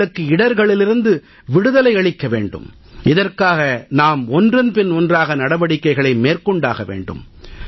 அவர்களுக்கு இடர்களிலிருந்து விடுதலை அளிக்க வேண்டும் இதற்காக நாம் ஒன்றன் பின் ஒன்றாக நடவடிக்கைகளை மேற்கொண்டாக வேண்டும்